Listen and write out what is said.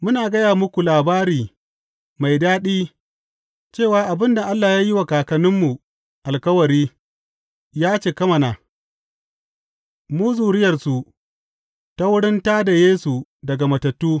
Muna gaya muku labari mai daɗi cewa abin da Allah ya yi wa kakanninmu alkawari, ya cika mana, mu zuriyarsu, ta wurin tā da Yesu daga matattu.